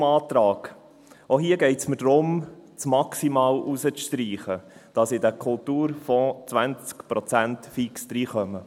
Zum Antrag: Auch hier geht es mir darum, das «maximal» herauszustreichen, damit in den Kultur fonds fix 20 Prozent kommen.